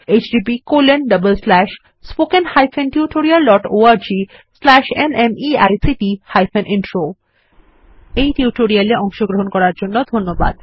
httpspoken tutorialorgNMEICT Intro এই tutorial এ অংশগ্রহন করার জন্য ধন্যবাদ